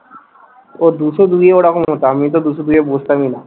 ও দুশো দুইয়ে ওরকম হতো। আমি তো দুশো দুইয়ে বসতামই না।